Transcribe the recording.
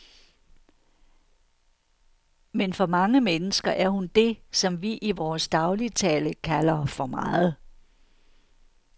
Men for mange mennesker er hun det, som vi i vores dagligtale kalder for meget.